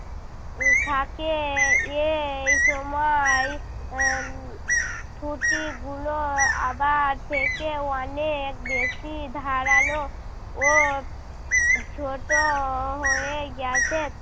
উহ থাকে। এই সময় এর ছুটি গুলো আবার থেকে অনেক বেশি ধারালো ও ছোট হয়ে গেছে।